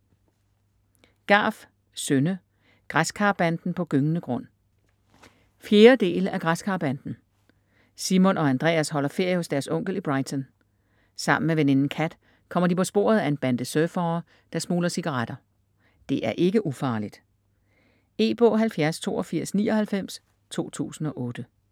Garff, Synne: Græskarbanden på gyngende grund 4. del af Græskarbanden. Simon og Andreas holder ferie hos deres onkel i Brighton. Sammen med veninden Cat kommer de på sporet af en bande surfere der smugler cigaretter. Det er ikke ufarligt!. E-bog 708299 2008.